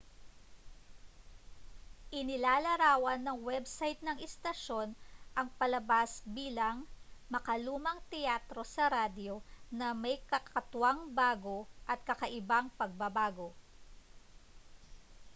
inilalarawan ng web site ng istasyon ang palabas bilang makalumang teatro sa radyo na may kakatwang bago at kakaibang pagbabago